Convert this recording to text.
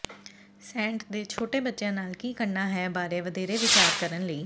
Saint ਦੇ ਛੋਟੇ ਬੱਚਿਆਂ ਨਾਲ ਕੀ ਕਰਨਾ ਹੈ ਬਾਰੇ ਵਧੇਰੇ ਵਿਚਾਰ ਕਰਨ ਲਈ